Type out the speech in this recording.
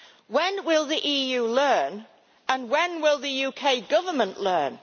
When will the EU learn and when will the UK Government learn?